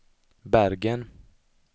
Bergen